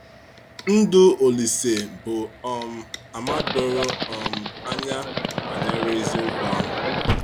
Ndụ Ȯlísè bụ um àmà doro um anya banyere eziokwu ahụ.